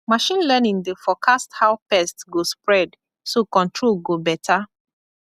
machine learning dey forecast how pest go spread so control go be better